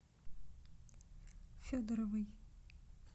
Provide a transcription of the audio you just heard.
федоровой